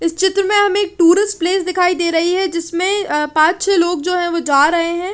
इस चित्र में हमे एक टूरिस्ट प्लेस दिखाई दे रही है जिसमे अ पञ्च छे लोग जो ई वो जा रहे है।